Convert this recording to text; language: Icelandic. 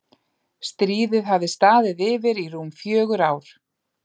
Stríðið hafði staðið yfir í rúm fjögur ár.